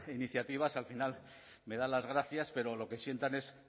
iniciativas al final me dan las gracias pero lo que sientan es